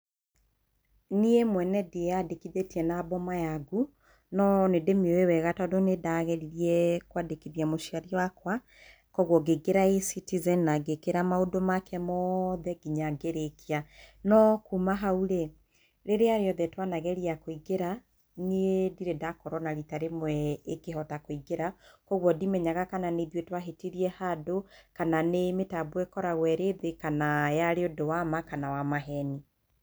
Niĩ mwene ndiĩyandĩkithĩtie na Boma Yangu no nĩ ndĩmĩoi wega tondũ nĩ ndageririe kwandĩkithia mũciari wakwa, koguo ngĩingira E-Citizen na ngĩkĩra maũndũ make mothe nginya ngĩrĩkia. No kuma hau rĩ rĩrĩa rĩothe twanageria kũingĩra niĩ ndirĩ ndakorwo ona rita rĩmwe ĩkĩhota kũingĩra koguo ndimenyaga kana nĩ ithuĩ twahĩtirie handũ kana nĩ mĩtambo ĩkoragwo ĩrĩ thĩ, kana yarĩ ũndũ wa ma, kana wa maheni.